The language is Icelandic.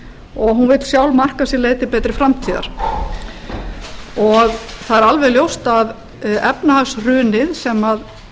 og hún vill sjálf marka sér leið til betri framtíðar það er alveg ljóst að efnahagshrunið sem